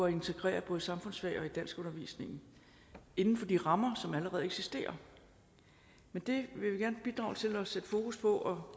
integrere i både samfundsfag og i danskundervisningen inden for de rammer som allerede eksisterer det vil vi gerne bidrage til at sætte fokus på og